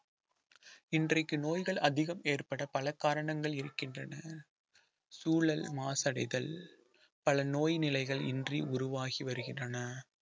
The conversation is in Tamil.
இன்றைக்கு நோய்கள் அதிகம் ஏற்பட பல காரணங்கள் இருக்கின்றன சூழல் மாசடைதல் பல நோய் நிலைகள் இன்றி உருவாகி வருகின்றன